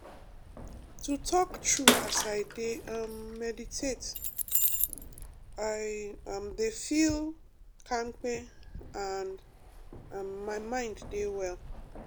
to talk true as i dey um meditate i um dey feel kampe and um my mind dey well